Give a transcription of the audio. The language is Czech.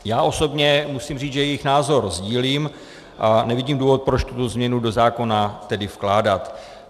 Já osobně musím říct, že jejich názor sdílím a nevidím důvod, proč tuto změnu do zákona tedy vkládat.